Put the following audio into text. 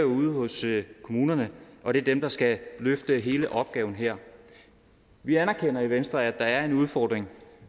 ude hos kommunerne og det er dem der skal løfte hele opgaven her vi anerkender i venstre at der er en udfordring